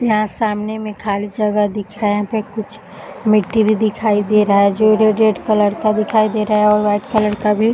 यहाँ सामने में खाली जगह दिखा रहा है यहाँ पे कुछ मिट्टी भी दिखाई दे रहा है जो रेड रेड कलर का दिखाई दे रहा है और वाइट कलर का भी --